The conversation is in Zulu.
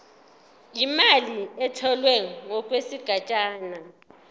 imali etholwe ngokwesigatshana